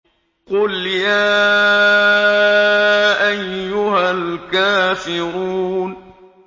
قُلْ يَا أَيُّهَا الْكَافِرُونَ